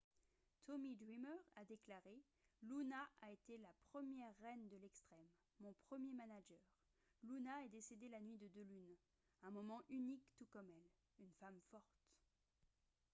tommy dreamer a déclaré :« luna a été la première reine de l'extrême. mon premier manager. luna est décédée la nuit de deux lunes. un moment unique tout comme elle. une femme forte. »